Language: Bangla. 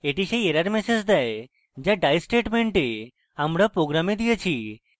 এটি সেই error ম্যাসেজ দেয় যা die statement আমরা program দিয়েছি